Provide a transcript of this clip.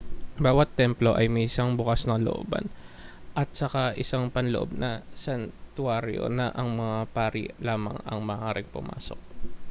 bawat templo ay may isang bukas na looban at saka isang panloob na santuwaryo na ang mga pari lamang ang maaaring pumasok